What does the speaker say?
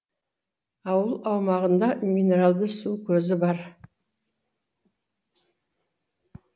ауыл аумағында минералды су көзі бар